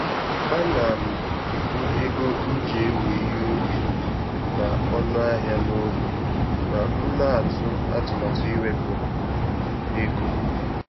Ana m ebu ego m ji ewo ihe ubi na ọnụ ahịa na obi ma m na atụ atụmatụ iwepu ego